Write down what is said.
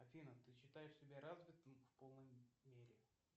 афина ты считаешь себя развитой в полной мере